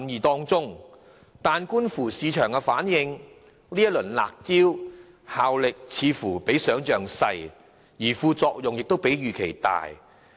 可是，觀乎市場反應，這些"辣招"的效力似乎比想象小，而副作用卻比預期大。